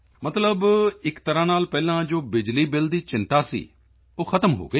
ਮਤਲਬ ਇੱਕ ਤਰ੍ਹਾਂ ਨਾਲ ਪਹਿਲਾਂ ਜੋ ਬਿਜਲੀ ਬਿਲ ਦੀ ਚਿੰਤਾ ਸੀ ਉਹ ਖ਼ਤਮ ਹੋ ਗਈ